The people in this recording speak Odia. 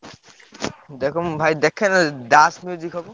ଦେଖ ମୁଁ ଭାଇ ଦେଖେଂ ମୁଁ ଯଦି ଦାସ ହବ।